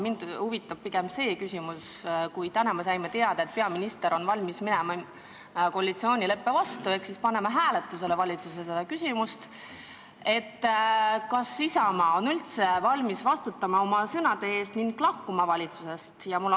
Mind huvitab pigem see küsimus, et kui me täna saime teada, et peaminister on valmis minema koalitsioonileppe vastu ehk panema selle küsimuse valitsuses hääletusele, siis kas Isamaa on üldse valmis vastutama oma sõnade eest ning valitsusest lahkuma.